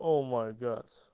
о май гад